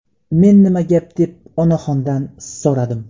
Men nima gap deb onaxondan so‘radim.